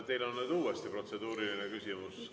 Teil on nüüd uuesti protseduuriline küsimus.